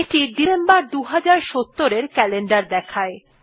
এইটি December ২০৭০ এর calendar দেখায়